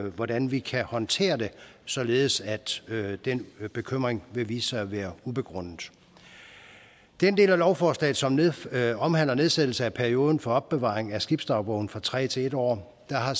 hvordan vi kan håndtere det således at den bekymring vil vise sig at være ubegrundet den del af lovforslaget som omhandler nedsættelse af perioden for opbevaring af skibsdagbogen fra tre til en år har